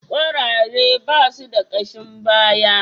Kwarare ba su da kashin baya.